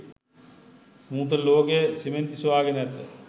නූතන ලෝකය සිමෙන්ති සොයා ගෙන ඇත.